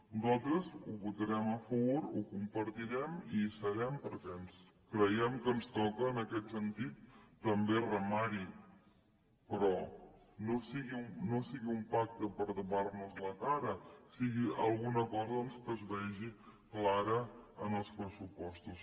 nosaltres hi votarem a favor ho compartirem i hi serem perquè creiem que ens toca en aquest sentit també remar hi però que no sigui un pacte per tapar nos la cara que sigui alguna cosa doncs que es vegi clara en els pressupostos